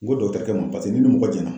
N ko dɔgɔtɔrɔkɛ ma , paseke ni ni mɔgɔ jɛna